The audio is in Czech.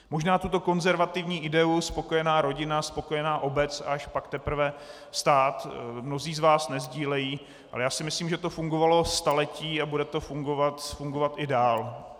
Možná tuto konzervativní ideu "spokojená rodina - spokojená obec, až pak teprve stát" mnozí z vás nesdílejí, ale já si myslím, že to fungovalo staletí a bude to fungovat i dál.